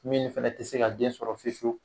Min fana tɛ se ka den sɔrɔ fewu fewu